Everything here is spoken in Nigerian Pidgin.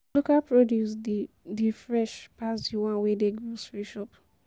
Local produce de dey fresh pass di one wey dey grocery shop